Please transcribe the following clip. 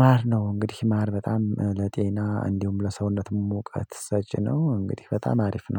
ማር ነው። እንግዲህ ማር በጣም ለጤና እንዲሁም ለሰውነት መውቀት ሰጪ ነው። እንግዲህ በጣም አሪፍ ነው